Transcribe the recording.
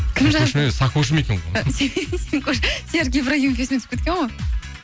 кім жазды сакошым екен ғой сикош серік ибрагимов есіме түсіп кеткен ғой